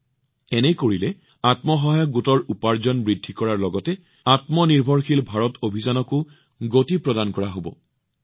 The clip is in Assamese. এনে কৰাৰ দ্বাৰা আপোনালোকে কেৱল আত্মসহায়ক গোটৰ উপাৰ্জন বৃদ্ধি কৰাত সহায় কৰাই নহয় লগতে আত্মনিৰ্ভৰশীল ভাৰত অভিযানৰ গতি বৃদ্ধি কৰিব পাৰিব